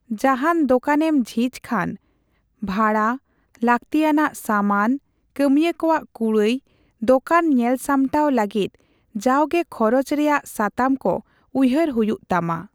ᱡᱟᱦᱟᱱ ᱫᱚᱠᱟᱱᱮᱢ ᱡᱷᱤᱡᱽ ᱠᱷᱟᱱ, ᱵᱷᱟᱲᱟ, ᱞᱟᱹᱠᱛᱤ ᱟᱱᱟᱜ ᱥᱟᱢᱟᱱ, ᱠᱟᱹᱢᱤᱭᱟᱹ ᱠᱚᱣᱟᱜ ᱠᱩᱲᱟᱹᱭ, ᱫᱚᱠᱟᱱ ᱧᱮᱞ ᱥᱟᱢᱴᱟᱣ ᱞᱟᱹᱜᱤᱫ ᱡᱟᱣᱜᱮ ᱠᱷᱚᱨᱚᱪ ᱨᱮᱭᱟᱜ ᱥᱟᱛᱟᱢ ᱠᱚ ᱩᱭᱦᱟᱹᱨ ᱦᱩᱭᱩᱜ ᱛᱟᱢᱟ ᱾